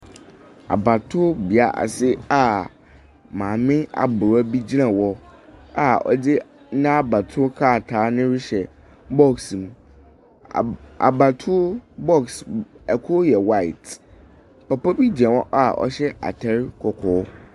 Abatoɔbea ase a maame abrewa bi gyina hɔ a ɔde n’abatoɔ krataa no rehyɛ box mu. Abatoo box ɛkor yɛ white. Papa bi gyina hɔ a ɔhyɛ ataar kɔkɔɔ.